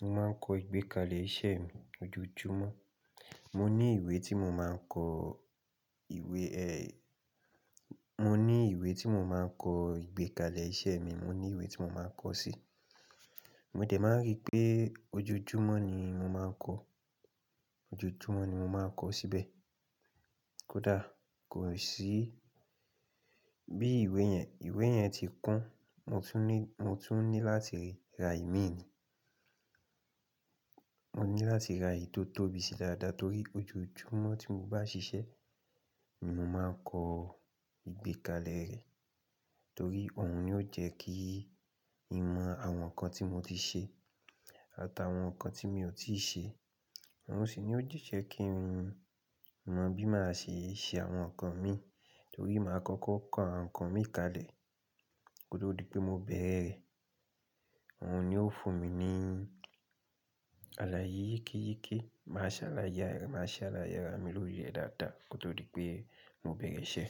mo máa ń kọ ìgbékalẹ̀ iṣẹ́ mi ojoojúmọ́. Mo ní ìwé tí mo máa ń kọ ìwé ẹ́, mo ní ìwé tí mo máa ń kọ ìgbékalẹ̀ iṣẹ́ mi, mo ní ìwé tí mo máa ń kọ sí. Mo dẹ̀ máa rí pé ojoojúmọ́ ni mo máa ń kọ, ojoojúmọ́ ni mo máa ń kọ síbẹ̀. Kódà kò sí bí ìwé yẹn, ìwé yẹn ti kún, mo tún ní, mo tún ní láti ra ìmí ni. Mo ní láti ra èyí tó tóbi sí dáadáa torí ojoojúmọ́ tí mo bá ṣiṣẹ́, ni mo máa ń kọ ìgbékalẹ̀ rẹ̀. Torí òun ni ó jẹ́ kí ì mọ àwọn nǹkan tí mo ti ṣe àtàwọn nǹkan tí mi ò tíì ṣe. Òun sì ni ó jẹ́ kí n mọ bí máa ṣe ṣe àwọn nǹkan mi torí máa kọ́kọ́ kọ àwọn nǹkan mi kalẹ̀ kótó di pé mo bẹ̀rẹ̀ rẹ̀. Òun ni ó fún mi ní aláye yekeyeke, máa ṣàlàyé, máa ṣàlàyé ara mi lóri rẹ dáadáa kótó di pé mo bẹ̀rẹ̀ iṣẹ́.